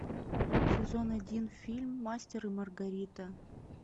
сезон один фильм мастер и маргарита